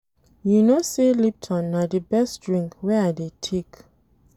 You know sey lipton na di best drink wey I dey take.